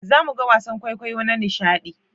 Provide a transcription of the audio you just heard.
Za mu ga wasan kwaikwayo na nishaɗi